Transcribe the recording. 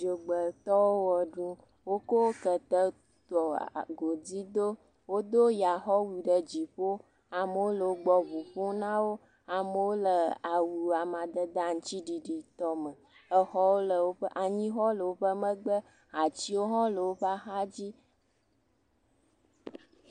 Dzogbetɔwo ʋe ɖum, wokɔ kete tɔ godui do, wodo yaxɔwu ɖe dziƒo, amewo le wo gbɔ ŋu ƒom na wo, amewo le awu amadede aŋutiɖiɖiɖi tɔ me, exɔwo le woƒe, anyixɔ woƒe megbe, atiwo hã wole woƒe axadzi.